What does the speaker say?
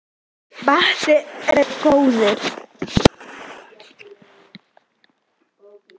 Ábati er gróði.